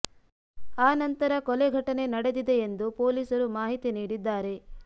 ಆ ನಂತರ ಕೊಲೆ ಘಟನೆ ನಡೆದಿದೆ ಎಂದು ಪೊಲೀಸರು ಮಾಹಿತಿ ನೀಡಿದ್ದಾರೆ